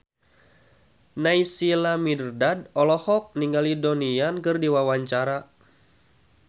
Naysila Mirdad olohok ningali Donnie Yan keur diwawancara